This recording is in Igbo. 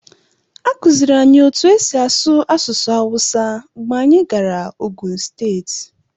A kụziiri anyị otú e si asụ asụsụ hausa mgbe anyị gara Ogun steeti.